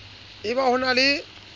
e ba ho na le